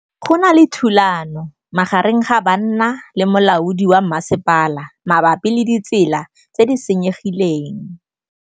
Go na le thulanô magareng ga banna le molaodi wa masepala mabapi le ditsela tse di senyegileng.